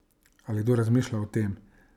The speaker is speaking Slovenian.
Ali kdo razmišlja o tem?